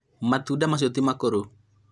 matũnda macio ti makũrũ